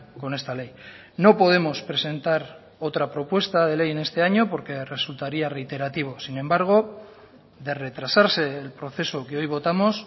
con esta ley no podemos presentar otra propuesta de ley en este año porque resultaría reiterativo sin embargo de retrasarse el proceso que hoy votamos